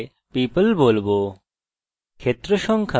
ক্ষেত্র সংখ্যা অত্যন্ত গুরুত্বপূর্ণ